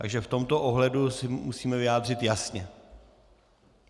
Takže v tomto ohledu se musíme vyjádřit jasně.